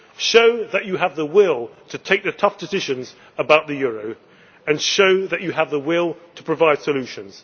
show that you have the will to take the tough decisions about the euro and show that you have the will to provide solutions.